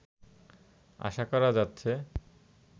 আশা করা যাচ্ছে